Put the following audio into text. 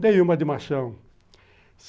Dei uma de machão.